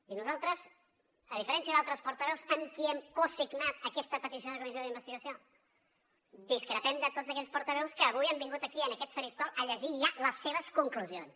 i nosaltres a diferència d’altres portaveus amb qui hem cosignat aquesta petició de comissió d’investigació discrepem de tots aquells portaveus que avui han vingut aquí en aquest faristol a llegir ja les seves conclusions